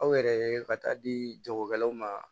Aw yɛrɛ ka taa di jagokɛlaw ma